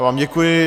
Já vám děkuji.